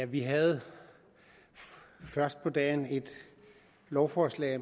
vi havde først på dagen et lovforslag